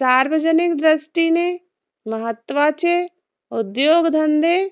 सार्वजनिक दृष्टीने महत्वाचे उद्योगधंदे